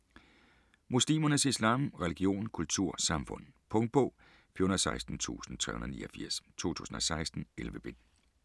Muslimernes islam: religion, kultur, samfund Punktbog 416389 2016. 11 bind.